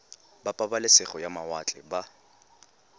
ba pabalesego ya mawatle ba